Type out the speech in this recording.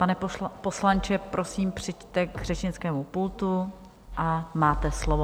Pane poslanče, prosím, přijďte k řečnickému pultu a máte slovo.